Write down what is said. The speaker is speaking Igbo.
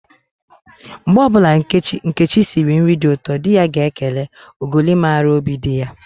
Mgbe ọbụla Nkechi siri nri dị ụtọ, di ya ga-ekele, "ogoli mara óbì di ya"